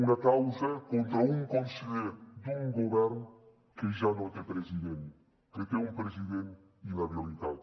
una causa contra un conseller d’un govern que ja no té president que té un president inhabilitat